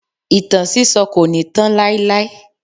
Ìtàn sísọ kò ní tán láíláí.